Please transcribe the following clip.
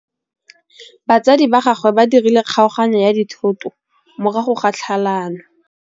Batsadi ba gagwe ba dirile kgaoganyô ya dithoto morago ga tlhalanô.